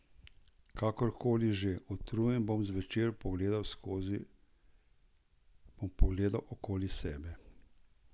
Kakorkoli že, utrujen bom zvečer pogledal okoli sebe.